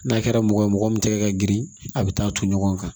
N'a kɛra mɔgɔ ye mɔgɔ min tɛgɛ ka girin a bɛ taa ton ɲɔgɔn kan